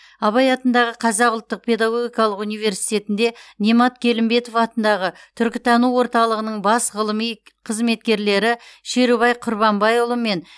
абай атындағы қазақ ұлттық педагогикалық университетінде немат келімбетов атындағы түркітану орталығының бас ғылыми қызметкерлері шерубай құрманбайұлы мен